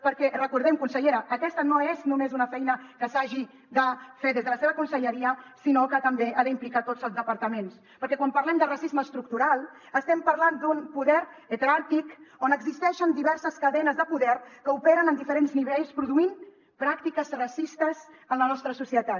perquè recordem ho consellera aquesta no és només una feina que s’hagi de fer des de la seva conselleria sinó que també ha d’implicar tots els departaments perquè quan parlem de racisme estructural estem parlant d’un poder heteràrquic on existeixen diverses cadenes de poder que operen en diferents nivells produint pràctiques racistes en la nostra societat